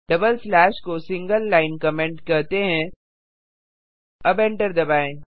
double slash को single line comment कहते हैं अब एंटर दबाएँ